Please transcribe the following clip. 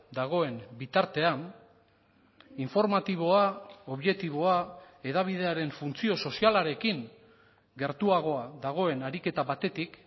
dagoen bitartean informatiboa objektiboa hedabidearen funtzio sozialarekin gertuagoa dagoen ariketa batetik